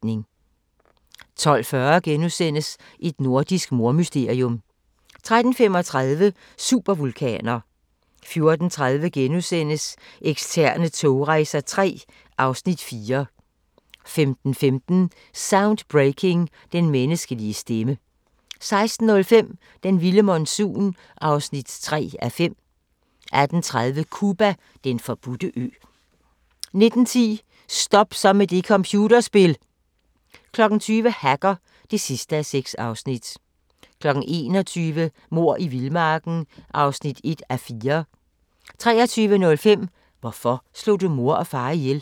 12:40: Et nordisk mordmysterium * 13:35: Supervulkaner 14:30: Ekstreme togrejser III (Afs. 4)* 15:15: Soundbreaking – Den menneskelige stemme 16:05: Den vilde monsun (3:5) 18:30: Cuba: Den forbudte ø 19:10: Stop så med det computerspil! 20:00: Hacker (6:6) 21:00: Mord i vildmarken (1:4) 23:05: Hvorfor slog du mor og far ihjel?